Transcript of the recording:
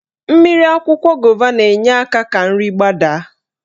Mmiri akwụkwọ gova na-enye aka ka nri gbadaa.